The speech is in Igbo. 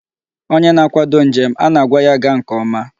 Onye na-akwado njem, a na-agba ya gaa nke ọma.